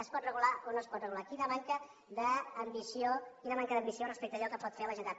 es pot regular o no es pot regular quina manca d’ambició quina manca d’ambició respecte a allò que pot fer la generalitat